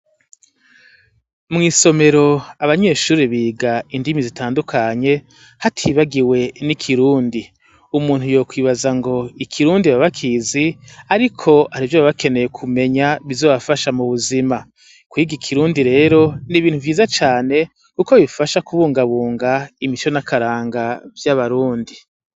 Mw'isomero, abanyeshuri biga indimi zitandukanye hatibagiwe n'ikirundi. Umuntu yo kwibaza ngo ikirundi babakizi? ariko ari harih'ivyo baba bakeneye kumenya bizobafasha mu buzima. Kwiga ikirundi rero n'ibintu vyiza cane kuko bifasha kubungabunga imico nakaranga vy'abarundi.